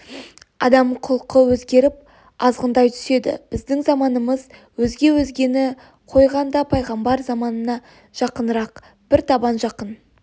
адам құлқы өзгеріп азғындай түседі біздің заманымыз өзге өзгені қойғанда пайғамбар заманына жақынырақ бір табан жақын